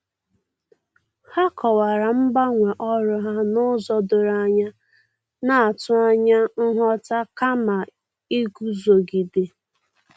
Ha kọwara mgbanwe ọrụ ha n'ụzọ doro anya, na-atụ anya nghọta kama iguzogide.